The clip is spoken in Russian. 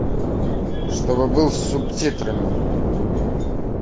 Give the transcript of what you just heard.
чтобы был с субтитрами